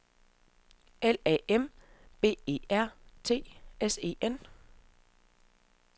L A M B E R T S E N